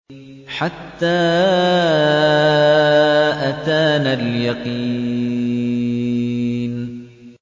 حَتَّىٰ أَتَانَا الْيَقِينُ